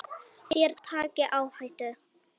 Þér takið áhættu.